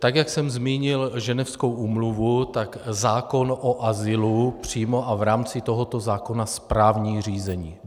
Tak jak jsem zmínil Ženevskou úmluvu, tak zákon o azylu přímo a v rámci tohoto zákona správní řízení.